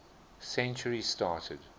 century started